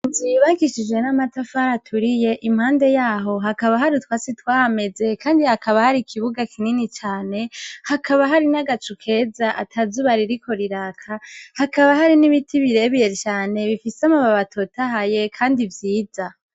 Inzu yubakishijwe n'amatafari aturiye; impande yaho hakaba hari utwatsi twahameze. Kandi hakaba hari ikibuga kinini cane. Hakaba hari n'agacu keza, ata zuba ririko riraka. Hakaba hari n'ibiti birebire cane, bifise amababi atotahaye kandi vyiza.